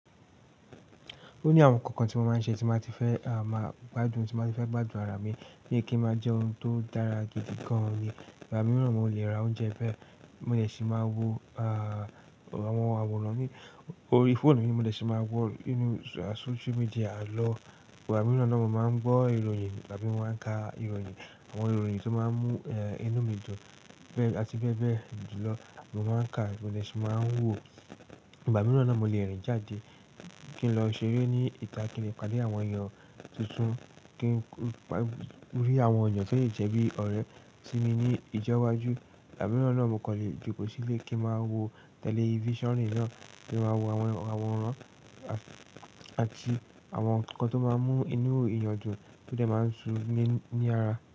Ó ní àwọn ǹkan kan tí mo máa ń ṣe tí n ba ti fẹ́ máa gbádùn, tí n ba ti fẹ́ gbádùn ara mi bií kin máa jẹ́ ohun tó dára gidi gan-an ni. Ìgbà mìíràn mo lè ra oúnjẹ bẹ́ẹ̀, mo dẹ̀sí máa wo àwọn àwòrán mi orí fóònù mi, mo dẹ̀sí máa wọ inú social media lọ. Ìgbà mìíràn náà mo máa ń gbọ́ ìròyìn àbí mo máa ń ka ìròyìn àwọn ìròyìn tí ó máa ń mú inú mi dùn, bẹ́ẹ̀ àti bẹ́ẹ̀ bẹ́ẹ̀ ju lọ. Mo máa ń ka, mo dẹ̀sí máa ń wò. Ìgbà mìíràn náà mo lè rìn jáde kí n lọ ṣeré ní ìta kí n dè pàdé àwọn èèyàn tuntun, kí n rí àwọn èèyàn tó le jẹ́ bí ọ̀rẹ́ sí mi ní ìjọ́wájú. Ìgbà mìíràn náà mo kàn lè jokoò sílé kí n máa wo tẹlifíṣàn nàa kí n máa wo àwọn àwòrán àti àwọn ǹkan tó máa ń mú inú eeyàn dún tó dẹ̀ máa ń sì ní àrà.